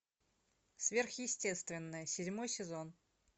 сверхъестественное седьмой сезон